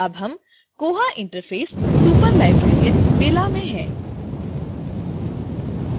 अब हम koha interface superlibrarian bella में है